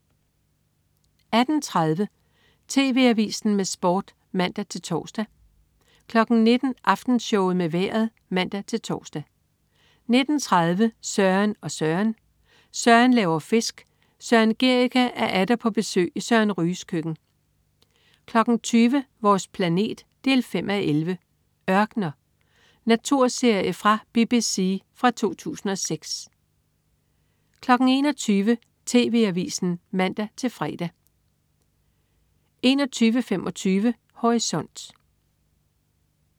18.30 TV AVISEN med Sport (man-tors) 19.00 Aftenshowet med vejret (man-tors) 19.30 Søren og Søren. Søren laver fisk. Søren Gericke er atter på besøg i Søren Ryges køkken 20.00 Vores planet 5:11. "Ørkener". Naturserie fra BBC fra 2006 21.00 TV AVISEN (man-fre) 21.25 Horisont